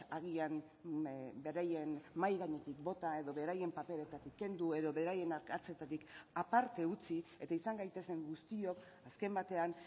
agian beraien mahai gainetik bota edo beraien paperetatik kendu edo beraien arkatzetatik aparte utzi eta izan gaitezen guztiok azken batean